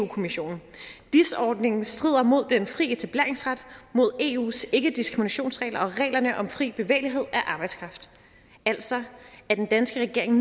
kommissionen dis ordningen strider mod den fri etableringsret mod eus ikkediskriminationsregler og reglerne om fri bevægelig af arbejdskraft altså er den danske regering